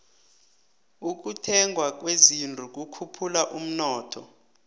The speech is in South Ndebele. ukuthengwa kwezinto kukhuphula umnotho